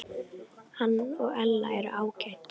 Hann og Ella eru ágæt.